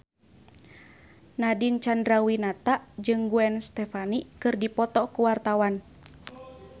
Nadine Chandrawinata jeung Gwen Stefani keur dipoto ku wartawan